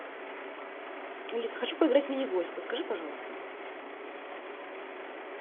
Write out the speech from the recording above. алиса хочу поиграть в мини гольф подскажи пожалуйста